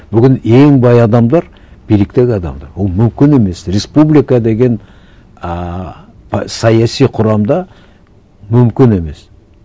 бүгін ең бай адамдар биліктегі адамдар ол мүмкін емес республика деген ыыы саяси құрамда мүмкін емес